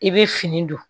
I bɛ fini don